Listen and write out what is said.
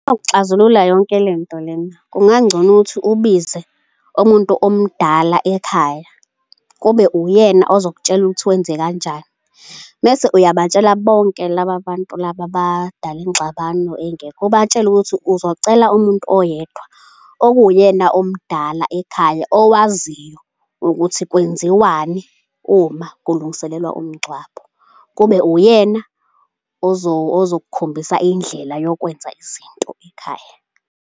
Ukuxazulula yonke lento lena kungangcono ukuthi ubize umuntu omdala ekhaya, kube uyena ozokutshela ukuthi wenze kanjani. Mese uyabatshela bonke laba bantu laba abadala ingxabano engekho, ubatshele ukuthi uzocela umuntu oyedwa okuwuyena omdala ekhaya owaziyo ukuthi kwenziwani uma kulungiselelwa umngcwabo, kube uyena ozokukhombisa indlela yokwenza izinto ekhaya.